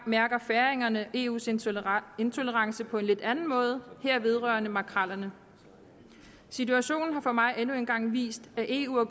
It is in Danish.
mærker færingerne eus intolerance intolerance på en lidt anden måde her vedrørende makrellerne situationen har for mig endnu en gang vist at eu er